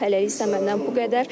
Hələlik isə məndən bu qədər.